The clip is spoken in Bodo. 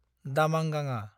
दामांगाङा